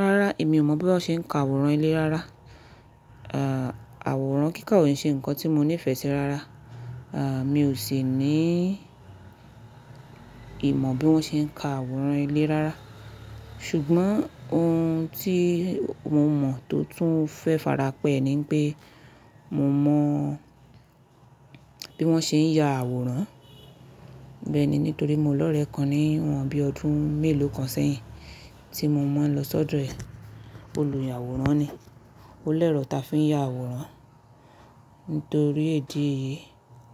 Rárá, èmi ò mọ̀ bí wọ́n ṣe ń ka àwòrán ilé rárá. Àwòrán kíkà òun ṣe nǹkan tí mo nífẹ̀ẹ́ sí rárá. À, mi ò sì ní ìmọ̀ bí wọ́n ṣe ń ka àwòrán ilé rárá. Ṣùgbọ́n ohun tí mo mọ̀ tó tún fẹ́ farapẹ̀ ni pé mo mọ bí wọ́n ṣe ń ya àwòrán. Bẹ́ẹ̀ ni, nítorí mo lọ̀rẹ́ kan ní wọ́n bí ọdún mélòó kan sẹ́yìn tí mo máa ń lọ sọ́dọ̀ rẹ. Olùyàwòrán ni. Ó lẹ̀rọ̀ táa fi ń ya àwòrán. Nítorí ídí èyìí,